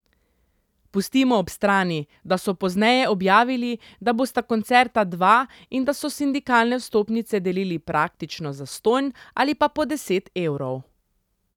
Pustimo ob strani, da so pozneje objavili, da bosta koncerta dva in da so sindikalne vstopnice delili praktično zastonj ali pa po deset evrov...